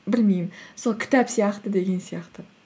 білмеймін сол кітап сияқты деген сияқты